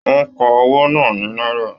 Wọn ká owó náà ní náírà.